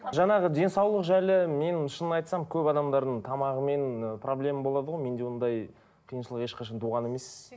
жаңағы денсаулық жайлы менің шынын айтсам көп адамдардың тамағымен ы проблема болады ғой менде ондай қиыншылық ешқашан туған емес